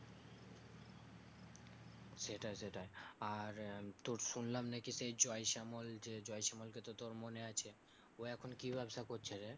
সেটাই সেটাই আর তোর শুনলাম নাকি সেই জয়শ্যামল যে জয়শ্যামল কে তোর মনে আছে ও এখন কি ব্যবসা করছে রে